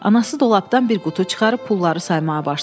Anası dolabdan bir qutu çıxarıb pulları saymağa başladı.